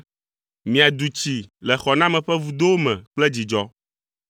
Miadu tsi le xɔname ƒe vudowo me kple dzidzɔ.”